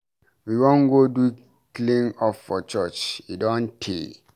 We wan go do clean up for church, e don tey.